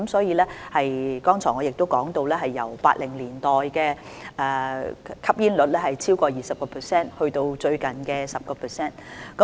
我剛才亦提到，本港的吸煙率由1980年代的超過 20% 減至最近的 10%。